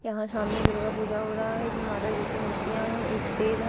यहां सामने दुर्गा पूजा हो रहा है इसमें माता जी की मूर्तियां हैं एक शेर है।